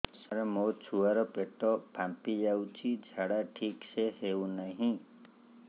ସାର ମୋ ଛୁଆ ର ପେଟ ଫାମ୍ପି ଯାଉଛି ଝାଡା ଠିକ ସେ ହେଉନାହିଁ